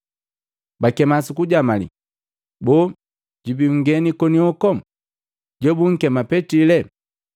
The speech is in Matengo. bakema sukujamali, “Boo, jubi nngeni konioku jobunkema Petili?”